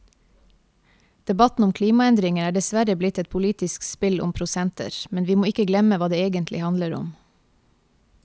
Debatten om klimaendringer er dessverre blitt et politisk spill om prosenter, men vi må ikke glemme hva det egentlig handler om.